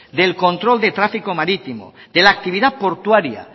del control de tráfico marítimo de la actividad portuaria